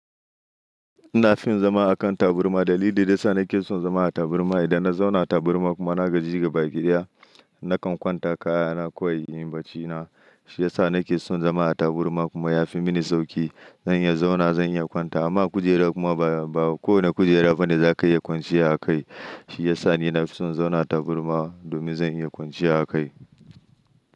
Ina fin zama a kan taburma. Dalili da ya sa nake son zama a taburma, idan na zauna a taburma kuma na gaji gaba ki daya, nakan kwanta kaya na kawai in baci na. Shi ya sa nake son zama a taburma kuma ya fi mini sauƙi. Zan iya zauna, zan iya kwanta. Amma kujera kuma ba kowane kujera bane za ka iya kwanciya a kai. Shi ya sa ni na fi son zauna taburma domin zan iya kwanciya a kai.